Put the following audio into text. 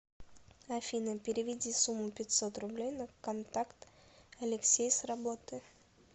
афина переведи сумму пятьсот рублей на контакт алексей с работы